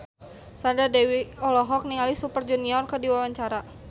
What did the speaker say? Sandra Dewi olohok ningali Super Junior keur diwawancara